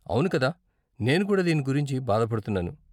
అవును కదా! నేను కూడా దీని గురించి బాధపడుతున్నాను.